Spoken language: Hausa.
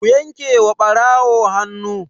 Ku yanke wa ɓarawo hannu!